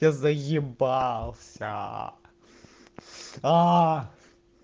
я заебался